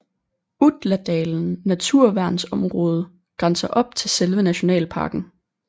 Utladalen naturværnsområde grænser op til selve nationalparken